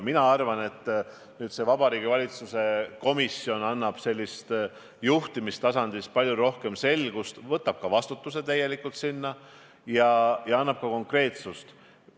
Mina arvan, et Vabariigi Valitsuse komisjon toob juhtimistasandil palju rohkem selgust, võtab ka vastutuse ja lisab konkreetsust.